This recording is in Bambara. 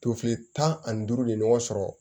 Tofili tan ani duuru de ɲɔgɔn sɔrɔ